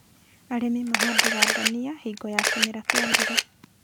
Arĩmi mahandaga ndania hingo ya kĩmera kĩa mbura